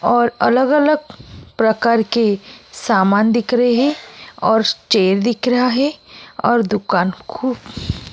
और अलग-अलग प्रकार के सामान दिख रहे हैं और चेयर दिख रहा है और दुकान खु --